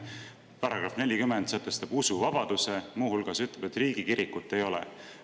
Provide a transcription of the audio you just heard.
See § 40 sätestab usuvabaduse ja muu hulgas ütleb, et riigikirikut ei ole.